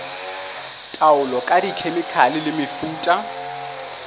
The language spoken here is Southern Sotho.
taolo ka dikhemikhale le mefuta